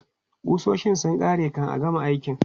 Ƙusoshin sun ƙare kan a gama aikin.